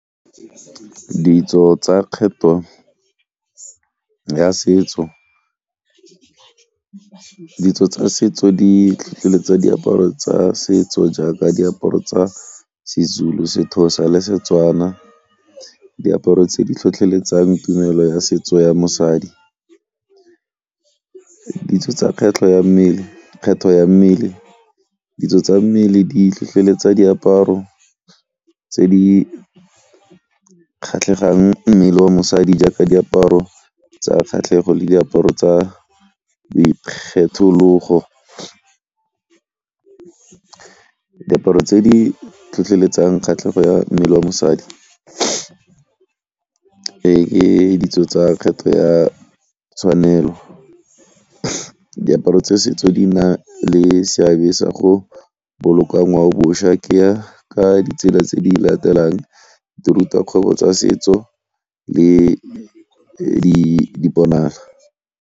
Ditso tsa kgetho ya setso, ditso tsa setso di tlhotlheletsa diaparo tsa setso jaaka diaparo tsa seZulu, seXhosa le Setswana. Diaparo tse di tlhotlheletsang tumelo ya setso ya mosadi, ditso tsa kgwetlho ya mmele, kgetho ya mmele ditso tsa mmele di tlhotlheletsa diaparo tse di kgatlhegang mmele wa mosadi jaaka diaparo tsa kgatlhego le diaparo tsa boikgethologo. Diaparo tse di tlhotlheletsang kgatlhego ya mmele wa mosadi ke ditso tsa ya tshwanelo. Diaparo tsa setso di na le seabe sa go boloka ngwao-bošwa ke ya ka ditsela tse di latelang di ruta kgwebo tsa setso le .